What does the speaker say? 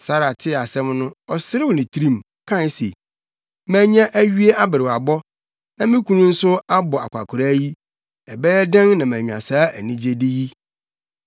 Sara tee asɛm no, ɔserew ne tirim, kae se, “Manya awie aberewabɔ, na me kunu nso abɔ akwakoraa yi, ɛbɛyɛ dɛn na manya saa anigyede yi?”